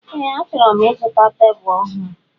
Ee achoro m ịzụta tebụl ọhụụ.